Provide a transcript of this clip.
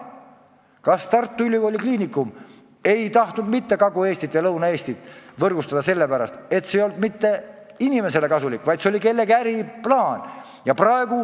Kas Tartu Ülikooli Kliinikum tahtis Kagu-Eestit ja Lõuna-Eestit võrgustada sellepärast, et see ei olnud mitte inimestele kasulik, vaid see oli kellegi äriplaan?